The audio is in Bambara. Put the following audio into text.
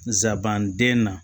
Nsabanden na